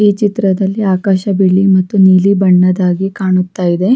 ಈ ಚಿತ್ರದಲ್ಲಿ ಆಕಾಶ ಬಿಳಿ ಮತ್ತು ನೀಲಿ ಬಣ್ಣದಾಗಿ ಕಾಣುತ ಇದೆ.